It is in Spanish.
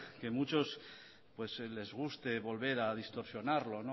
que a muchos les guste volver a distorsionarlo